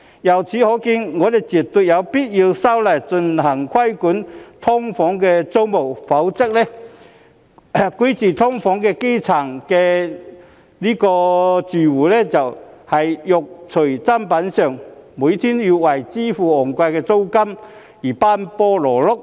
由此可見，我們絕對有必要修例規管"劏房"租務，否則居住在"劏房"的基層住戶只能"肉隨砧板上"，每天要為支付昂貴租金而奔波勞碌。